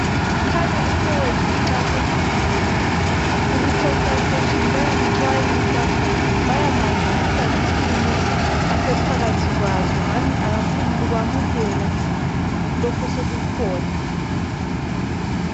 Kukhanya umfowethu uxakekile, uku"consultation" bayamxwayisa. Bayamazisa ngesimo asephakathi kwaso, ngani akafuni kwamukela lokhu osokukhona.